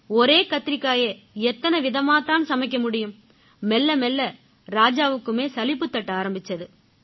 ஒரே கத்திரிக்காயை எத்தனை விதமாத் தான் சமைக்க முடியும் மெல்லமெல்ல ராஜாவுக்குமே சலிப்புத் தட்ட ஆரம்பிச்சுது